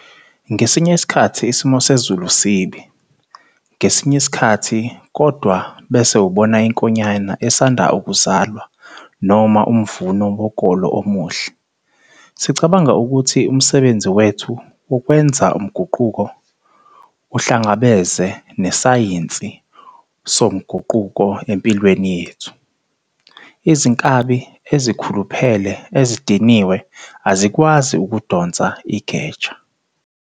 Ngesinye isikhathi isimo sezulu sibi, ngesinye isikhathi kodwa bese ubona inkonyane esanda ukuzalwa noma umvuno wokolo omuhle. sicabanga ukuthi umsebenzi wethu wokwenza umguquko uhlangabeze nesayinsi somguquko empilweni yethu. Izinkabi ezikhuluphele ezidiniwe azikwazi ukudonsa igeja.